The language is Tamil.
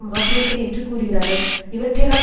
மாற்றியமைப்பது என்று கூறுகிறார்கள் இவற்றையெல்லாம்